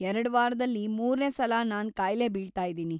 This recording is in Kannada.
ಎರ್ಡ್‌ ವಾರದಲ್ಲಿ ಮೂರ್ನೇ ಸಲ ನಾನ್‌ ಕಾಯ್ಲೆ ಬೀಳ್ತಾಯಿದೀನಿ.